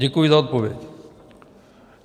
Děkuji za odpověď.